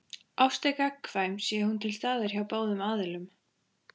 Ást er gagnkvæm sé hún til staðar hjá báðum aðilum.